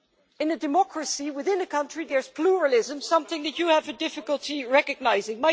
In a democracy, within a country there is pluralism, something that you have difficulty recognising.